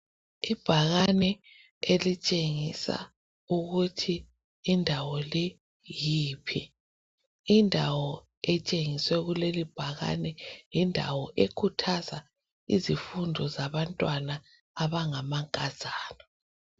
Ibhakane elitshengisa ukuthi indawo le yiphi. Indawo etshengiswa yileli bhakane yindawo ekhuthaza abantwana abangamankazana.